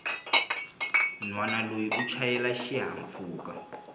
nhwana loyi u chayela xihahampfhuka